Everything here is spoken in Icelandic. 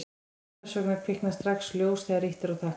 hvers vegna kviknar strax ljós þegar ýtt er á takka